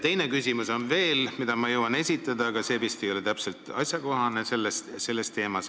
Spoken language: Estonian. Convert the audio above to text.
Teise küsimuse jõuan ma veel esitada, kuigi see vist ei ole täpselt asjakohane.